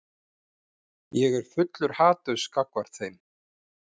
Ég er fullur haturs gagnvart þeim.